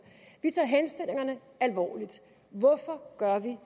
vi tager henstillingerne alvorligt hvorfor gør vi